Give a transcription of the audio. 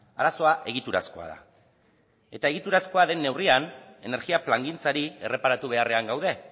arazoa egiturazkoa da eta egiturazkoa den neurrian energia plangintzari erreparatu beharrean gaude